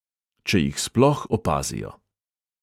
Če jih sploh opazijo.